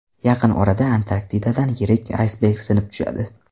Yaqin orada Antarktidadan yirik aysberg sinib tushadi.